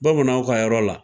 Bamananw ka yɔrɔ la